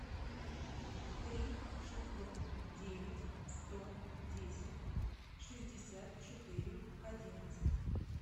три шестьсот девять сто десять шестьдесят четыре одиннадцать